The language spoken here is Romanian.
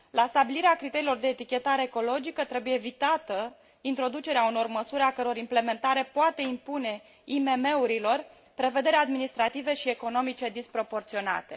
La stabilirea criteriilor de etichetare ecologică trebuie evitată introducerea unor măsuri a căror implementare poate impune IMM urilor prevederi administrative și economice disproporționate.